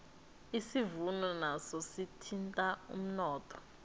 isivuno naso sithinta umnotho